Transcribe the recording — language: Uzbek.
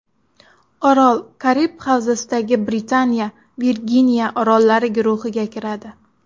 Orol Karib havzasidagi Britaniya Virginiya orollari guruhiga kiradi.